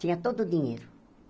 Tinha todo o dinheiro.